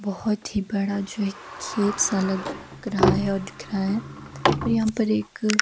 बहोत ही बड़ा जो है एक खेत सा लग रहा है और दिख रहा है और यहां पर एक--